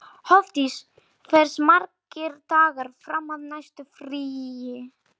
Hofdís, hversu margir dagar fram að næsta fríi?